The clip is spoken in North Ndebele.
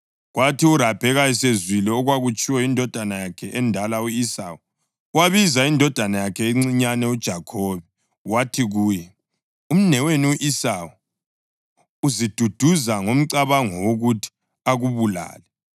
Kwathi uRabheka esezwile okwakutshiwo yindodana yakhe endala u-Esawu, wabiza indodana yakhe encinyane uJakhobe wathi kuye, “Umnewenu u-Esawu uziduduza ngomcabango wokuthi akubulale.